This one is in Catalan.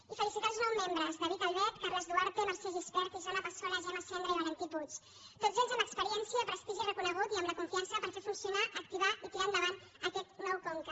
i felicitar els nous mem·bres david albert carles duarte mercè gispert isona passola gemma cendra i valentí puig tots ells amb experiència prestigi reconegut i amb la confi·ança per fer funcionar activar i tirar endavant aquest nou conca